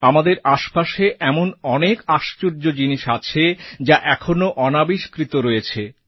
আমাদের আশপাশে এমন অনেক আশ্চর্য জিনিস আছে যা এখনও অনাবিষ্কৃত রয়েছে